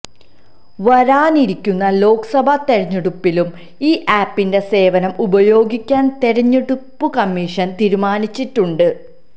വരാനിരിക്കുന്ന ലോക്സഭ തെരഞ്ഞെടുപ്പിലും ഈ ആപ്പിന്റെ സേവനം ഉപയോഗിക്കാൻ തെരഞ്ഞെടുപ്പു കമ്മീഷൻ തീരുമാനിച്ചിട്ടുണ്ട്